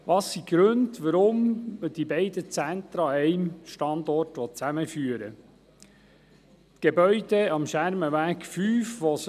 Welches sind die Gründe für die Zusammenführung der beiden Zentren an einem Standort?